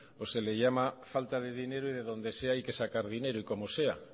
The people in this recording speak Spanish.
o se le llama falta de dinero y de donde sea hay que sacar dinero y como sea